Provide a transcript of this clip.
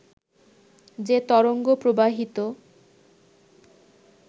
যে তরঙ্গ প্রবাহিত